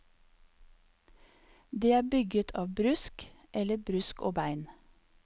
Det er bygget av brusk eller brusk og bein.